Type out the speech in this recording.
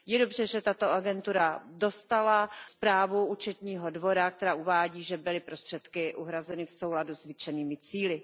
Je dobře, že tato agentura dostala zprávu Účetního dvora, která uvádí, že byly prostředky uhrazeny v souladu s vytyčenými cíly.